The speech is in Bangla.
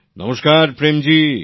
নমস্কার প্রেম জী